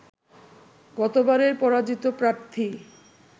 গতবারের পরাজিত প্রার্থী